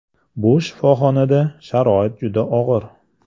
Bu shifoxonada sharoit juda og‘ir.